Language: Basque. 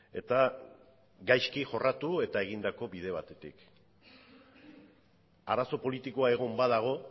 eta gaizki jorratu eta egindako bide batetik arazo politikoa egon badago